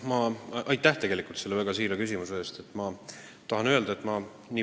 Aitäh selle väga siira küsimuse eest!